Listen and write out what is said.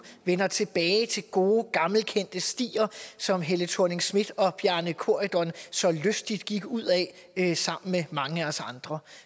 vender tilbage til gode gammelkendte stier som helle thorning schmidt og bjarne corydon så lystigt gik ud ad sammen med mange af os andre